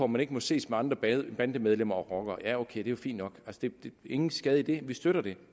man ikke må ses med andre bandemedlemmer og rockere ja ok det er fint nok ingen skade i det vi støtter det